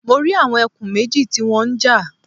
Mo rí àwọn ẹkùn méjì tí wọ́n ń jà